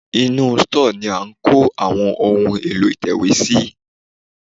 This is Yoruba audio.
Inú stọ́ọ̀ ni a ń kó Àwọn ohun èlò ìtẹ̀wé sí.